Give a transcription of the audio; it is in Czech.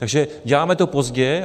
Takže děláme to pozdě.